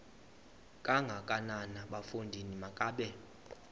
kangakanana bafondini makabe